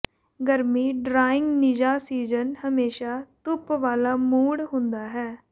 ਗਰਮੀ ਡਰਾਇੰਗ ਨਿੱਘਾ ਸੀਜ਼ਨ ਹਮੇਸ਼ਾ ਧੁੱਪ ਵਾਲਾ ਮੂਡ ਹੁੰਦਾ ਹੈ